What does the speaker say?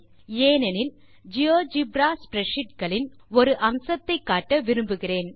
ஏனெனில் GeoGebra spreadsheet களின் ஒரு அம்சத்தை காட்ட விரும்புகிறேன்